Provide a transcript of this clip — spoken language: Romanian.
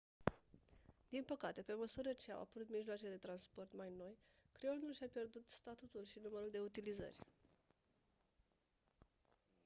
din păcate pe măsură ce au apărut mijloace de scris mai noi creionul și-a pierdut statutul și numărul de utilizări